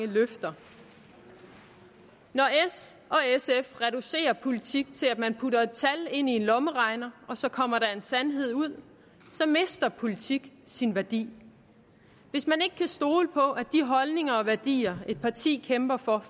løfter når s og sf reducerer politik til at man putter et tal ind i en lommeregner og så kommer der en sandhed ud så mister politik sin værdi hvis man ikke kan stole på at de holdninger og værdier et parti kæmper for